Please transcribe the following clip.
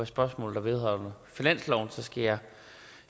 spørgsmål der vedrører finansloven skal jeg